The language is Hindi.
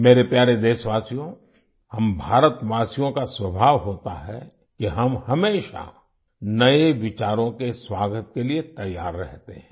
मेरे प्यारे देशवासियो हम भारतवासियों का स्वभाव होता है कि हम हमेशा नए विचारों के स्वागत के लिए तैयार रहते हैं